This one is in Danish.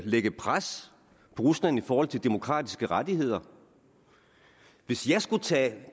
lægge pres på rusland i forhold til demokratiske rettigheder hvis jeg skulle tage